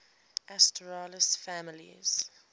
asterales families